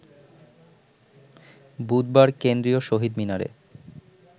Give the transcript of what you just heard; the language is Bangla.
বুধবার কেন্দ্রীয় শহীদ মিনারে